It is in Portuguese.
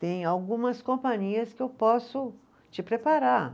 Tem algumas companhias que eu posso te preparar.